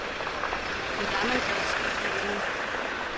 Men der er man gået et skridt videre.